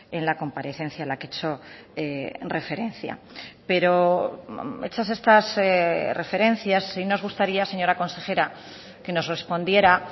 en la comparecencia a la que he hecho referencia pero hechas estas referencias sí nos gustaría señora consejera que nos respondiera